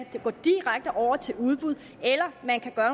kan gå direkte over til udbud eller at man kan gøre